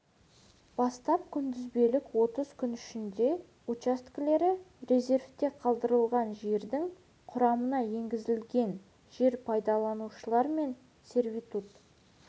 бастап күнтізбелік отыз күн ішінде учаскелері резервте қалдырылған жердің құрамына енгізілген жер пайдаланушылар мен сервитут